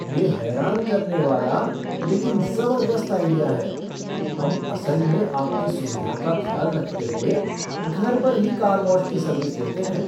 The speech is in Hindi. यह हैरान करने वाला, लेकिन ज़बरदस्त आइडिया है! हम असल में आपकी सुविधा का ख्याल रखते हुए घर पर ही कार वॉश की सर्विस देते हैं।